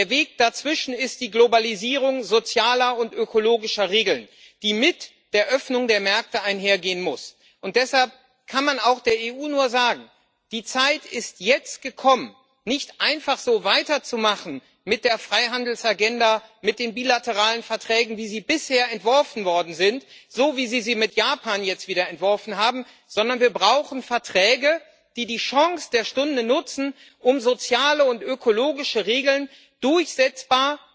Der Weg dazwischen ist die Globalisierung sozialer und ökologischer Regeln, die mit der Öffnung der Märkte einhergehen muss, und deshalb kann man auch der EU nur sagen Die Zeit ist jetzt gekommen, mit der Freihandelsagenda, mit den bilateralen Verträgen, wie sie bisher entworfen worden sind, so wie Sie sie mit Japan jetzt wieder entworfen haben, nicht einfach so weiterzumachen, sondern wir brauchen Verträge, die die Chance der Stunde nutzen, um soziale und ökologische Regeln durchsetzbar